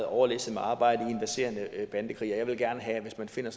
overlæsset med arbejde i en verserende bandekrig og jeg vil gerne have at hvis man finder